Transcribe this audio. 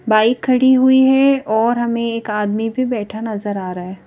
Bike खड़ी हुई है और हमें एक आदमी भी बैठा नजर आ रहा है।